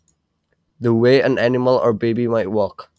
The way an animal or baby might walk